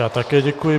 Já také děkuji.